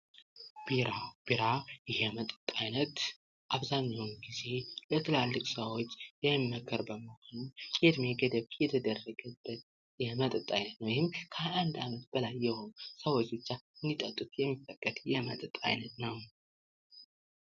ቢራ፦ ቢራ የመጠጥ አይነት አብዛኛውን ጊዜ ለትላልቅ ሰዎች የሚመከር አይነት ሁኖ የእድሜ ገደብ የተደረገበት የመጠጥ አይነት ነው። ይህም ከ21 ዓመት በላይ የሆኑ ሰዎች ብቻ እንዲጠጡት የሚፈቀድ የመጠጥ አይነት ነው።